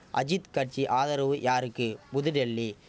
அஜித் கட்சி ஆதரவு யாருக்கு புதுடெல்லி